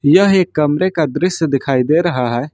यह एक कमरे का दृश्य दिखाई दे रहा है।